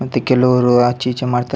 ಮತ್ತೆ ಕೆಲವ್ರು ಆಚೆ ಈಚೆ ಮಾಡ್ತರ್ --